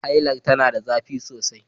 Hailar tana da zafi sosai